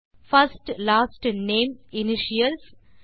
first last name initials